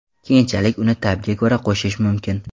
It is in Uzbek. Keyinchalik uni ta’bga ko‘ra qo‘shish mumkin.